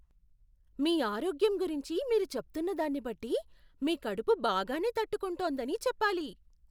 మీ ఆరోగ్యం గురించి మీరు చెప్తున్న దాన్ని బట్టి మీ కడుపు బాగానే తట్టుకుంటోందని చెప్పాలి.